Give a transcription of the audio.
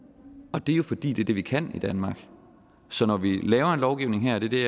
og det er jo fordi det er det vi kan i danmark så når vi laver en lovgivning her det